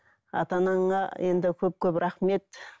ата анаңа енді көп көп рахмет